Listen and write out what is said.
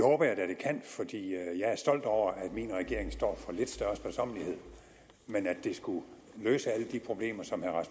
stolt over at min regering står for lidt større sparsommelighed men at det skulle løse de problemer som herre